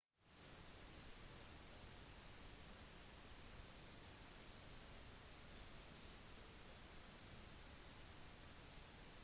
forskere arbeider med å lage en reaktor som kan generere energi på den samme måten